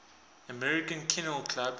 american kennel club